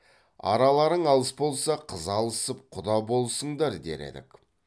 араларың алыс болса қыз алысып құда болысыңдар дер едік